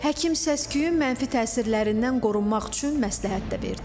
Həkim səs-küyün mənfi təsirlərindən qorunmaq üçün məsləhət də verdi.